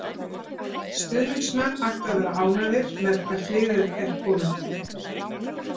Stuðningsmenn ættu að vera ánægðir með hvert liðið er komið.